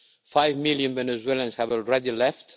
Five million Venezuelans have already left.